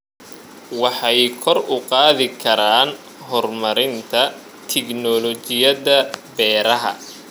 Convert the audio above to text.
Waxay kor u qaadi karaan horumarinta tignoolajiyada beeraha.